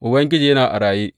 Ubangiji yana a raye!